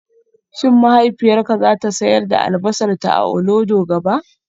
Shin mahaifiyarka za ta sayar da albasarta a Olodo gaba?